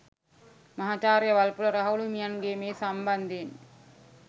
මහාචාර්ය වල්පොල රාහුල හිමියන් මේ සම්බන්ධයෙන්